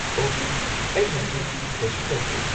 ꯑꯣꯍ, ꯑꯩ ꯍꯧꯖꯤꯛ ꯀꯩꯁꯨ ꯇꯧꯗ꯭ꯔꯦ꯫